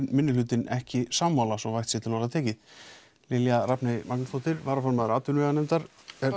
minnihlutinn ekki sammála Lilja Rafney Magnúsdóttir formaður atvinnuveganefndar